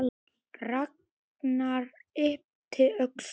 Ragnar yppti öxlum.